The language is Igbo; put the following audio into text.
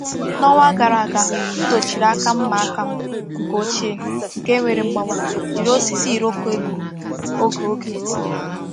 N’ọnwa gara aga, m dochiri aka mma aka m nke ochie nke nwere mgbawa jiri osisi iroko egburu oge oge